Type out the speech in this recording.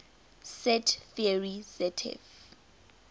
set theory zf